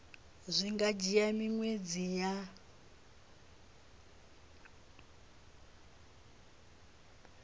zwi nga dzhia miṅwedzi ya